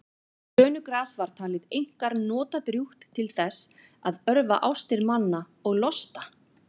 brönugras var talið einkar notadrjúgt til þess að örva ástir manna og losta